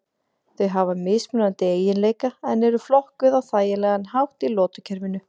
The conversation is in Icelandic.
Þau hafa mismunandi eiginleika en eru flokkuð á þægilegan hátt í lotukerfinu.